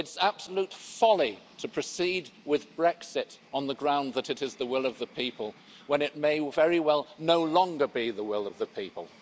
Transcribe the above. It's absolute folly to proceed with Brexit on the ground that it is the will of the people when it may very well no longer be the will of the people.